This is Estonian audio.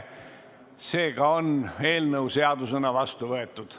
Seega on eelnõu seadusena vastu võetud.